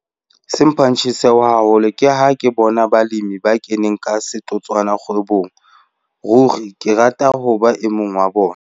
Se mphang tjheseho haholo ke ha ke bona balemi ba keneng ka setotswana kgwebong. Ruri ke rata ho ba e mong wa bona.